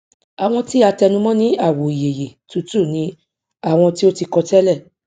àwọn tí a tẹnu mọ ní àwò ìyeyè tútù ni àwọn tí o ti kọ tẹlẹ